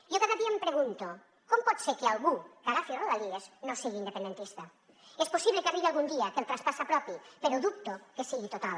jo cada dia em pregunto com pot ser que algú que agafi rodalies no sigui independentista és possible que arribi algun dia que el traspàs s’apropi però dubto que sigui total